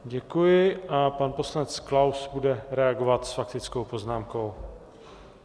Děkuji a pan poslanec Klaus bude reagovat s faktickou poznámkou.